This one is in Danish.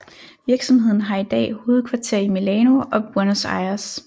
Virksomheden har i dag hovedkvarter i Milano og Buenos Aires